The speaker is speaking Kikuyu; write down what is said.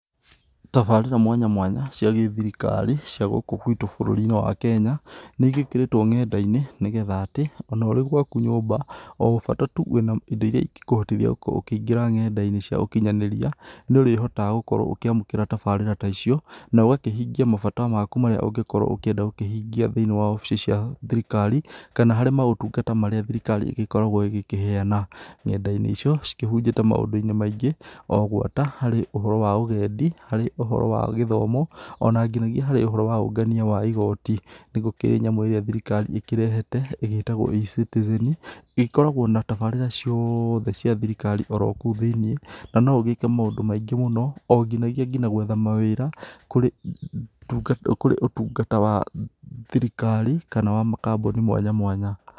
Tabarĩra mwanya mwanya cia gĩthirikari cia gũkũ gwitũ bũrũri-inĩ wa Kenya nĩ ĩgĩkĩrĩtwo nenda-inĩ, nĩgetha atĩ ona ũrĩ gwaku nyũmba o bata tu wĩna ĩndo ĩrĩa ĩngĩkũhotithia gũkorwo ũkĩingĩra nenda-inĩ cia ũkinyanĩria, nĩ ũrĩhotaga gũkorwo ũkĩamũkĩra tabarĩra ta icio na ũgakĩhingia mabata maku marĩa ũngĩkorwo ũkĩenda gũkũhingia thĩiniĩ wa obici cia thirikari, kana harĩ maũtungata marĩa thirikari ĩgĩkoragwo ĩgĩkĩheyana. Nenda-inĩ icio cĩgĩkĩhunjĩte maũndũ -inĩ maingĩ ũguo, ta harĩ ũhoro wa ũgendi, harĩ ũhoro wa gĩthomo, ona nginyagia harĩ ũhoro wa ũngania wa igoti. Nĩ gũkĩrĩ nyamũ ĩrĩa thirikari ĩkĩrehete ĩtagwo eCitizen, ĩkoragwo na tabarĩra ciothe cia thirikari oro kũu thĩiniĩ na no ũgĩke maũndũ maingĩ mũno onginyagia nginya gwetha mawĩra kũrĩ kũrĩ ũtungata wa thirikari, kana wa makambuni mwanya mwanya.